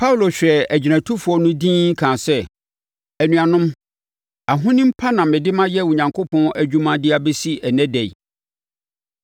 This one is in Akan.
Paulo hwɛɛ agyinatufoɔ no dinn, kaa sɛ, “Anuanom, ahonim pa na mede mayɛ Onyankopɔn adwuma de abɛsi ɛnnɛ da yi.”